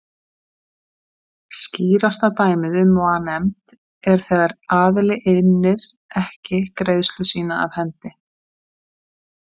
Skýrasta dæmið um vanefnd er þegar aðili innir ekki greiðslu sína af hendi.